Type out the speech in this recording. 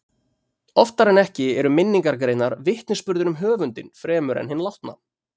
Oftar en ekki eru minningargreinar vitnisburður um höfundinn fremur en hinn látna.